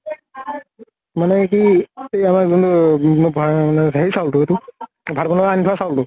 মানে কি ? এই আমাৰ জোনতো আ ব হেৰি চাউল তো এইতো, ভাত বনোৱা আনি থোৱা চাউল তো